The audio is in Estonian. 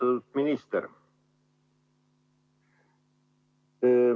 Austatud minister!